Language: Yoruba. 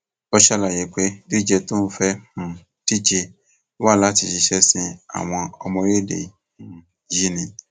ó ṣàlàyé pé dídíje tí òun fẹẹ um díje wá láti ṣiṣẹ sin àwọn ọmọ orílẹèdè um yìí ni